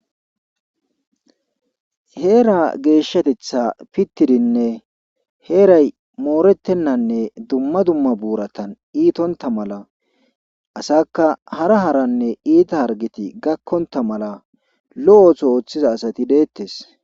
Heeraa geeshatetha pittidinne heeray moorettennanne dumma dumma buurata iitontta mala asaakka hara haranne iita harggeti gakkontta mala lo7o ooso oothiza asati deettes.